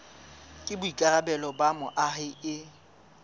ke boikarabelo ba moahi e